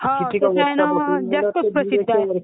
हो, ते कसा आहे ना जास्तच प्रसिद्ध आहे.